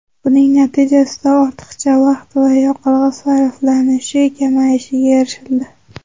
Buning natijasida ortiqcha vaqt va yoqilg‘i sarflanishi kamayishiga erishildi.